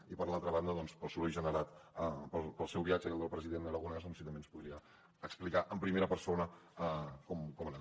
i per l’altra banda doncs pel soroll generat pel seu viatge i el del president aragonès si també ens podria explicar en primera persona com ha anat